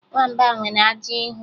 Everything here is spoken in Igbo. Nwamba nwere ajị ihu